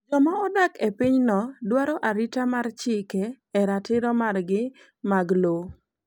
Joma odak e pinyno dwaro arita mar chike e ratiro margi mag lowo.